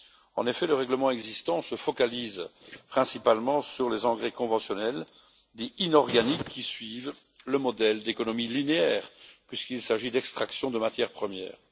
En effet, le règlement existant concerne principalement les engrais conventionnels, dits inorganiques, qui suivent un modèle d'économie linéaire, puisqu'il s'agit d'extraction de matières premières.